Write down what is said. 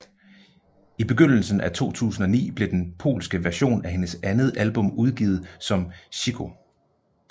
I begyndelsen af 2009 blev den polske version af hendes andet album udgivet som Cicho